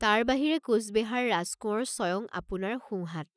তাৰ বাহিৰে কোচবেহাৰ ৰাজকোঁৱৰ স্বয়ং আপোনাৰ সোঁ হাত।